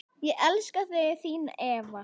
Ég elska þig, þín Eva.